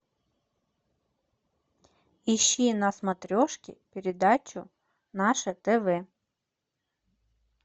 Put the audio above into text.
ищи на смотрешке передачу наше тв